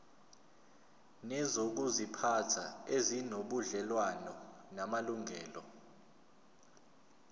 nezokuziphatha ezinobudlelwano namalungelo